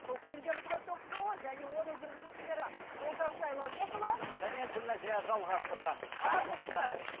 бұл пендеміз ғой ток шоуы және оның жүргізушілері олжас сайлаубекұлы және гүлнәзия жалғасқызы армысыздар